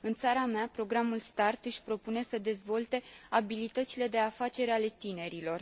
În țara mea, programul START își propune să dezvolte abilitățile de afaceri ale tinerilor.